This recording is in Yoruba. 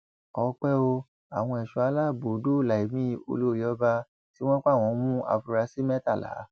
ọpẹ ò àwọn ẹṣọ aláàbò dóòlà ẹmí olórí ọba tí wọn pa wọn mú àfúrásì mẹtàlá